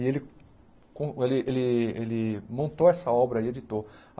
E ele con ele ele ele montou essa obra e editou.